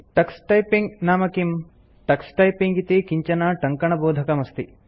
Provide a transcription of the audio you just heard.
Tux typing नाम किम् Tux typing इति किञ्चन टङ्कनबोधकमस्ति